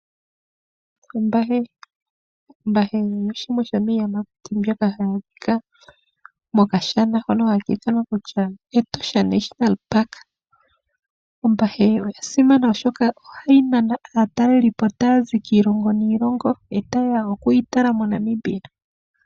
Ombahi, ombahi oyo shimwe shomiiyamakuti mbyoka hayi adhika mokashana hoka haka ithanwa kutya Etosha National Park. Ombahi oyasimana oshoka ohayi nana aatalelipo tayazi kiilongo niilongo e tayeya okuyi tala moNamibia.